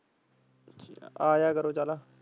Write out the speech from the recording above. ਆਜਿਆ ਕਰੋ ਚਲੋ।